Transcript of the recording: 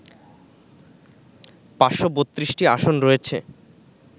৫৩২টি আসন রয়েছে